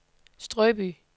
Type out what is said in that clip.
Strøby